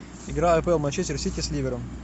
игра апл манчестер сити с ливером